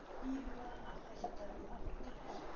Íhugar að hætta við áritanir